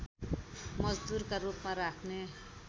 मजदुरका रूपमा राख्ने